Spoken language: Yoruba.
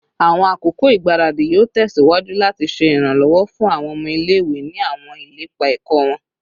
Awọn akoko igbaradi yoo tẹsiwaju lati ṣe iranlọwọ fun awọn ọmọ ile-iwe ni awọn ilepa ẹkọ wọn